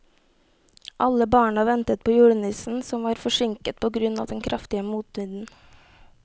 Alle barna ventet på julenissen, som var forsinket på grunn av den kraftige motvinden.